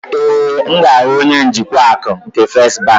Ee, m ga-ahụ onye njikwa akụ nke First bank.